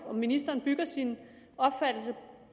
ministeren bygger sin opfattelse